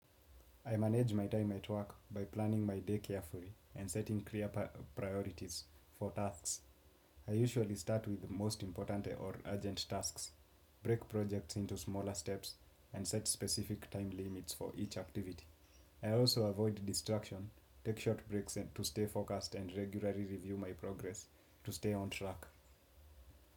I manage my time at work by planning my day carefully and setting clear priorities for tasks. I usually start with the most important or urgent tasks, break projects into smaller steps and set specific time limits for each activity. I also avoid distraction, take short breaks to stay focused and regularly review my progress to stay on track.